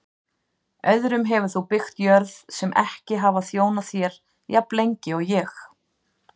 Öðrum hefur þú byggt jörð sem ekki hafa þjónað þér jafnlengi og ég.